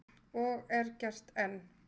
Og er gert enn.